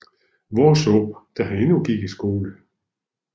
Worsaae da han endnu gik i skole